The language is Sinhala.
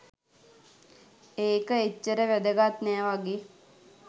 ඒක එච්චර වැදගත් නෑ වගේ